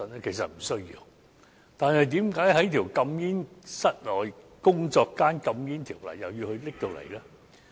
可是，為何又要在室內工作間禁煙的條例加入這項規定呢？